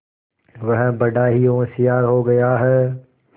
वह बड़ा ही होशियार हो गया है